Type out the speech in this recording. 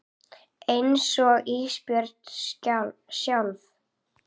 Einsog Ísbjörg sjálf.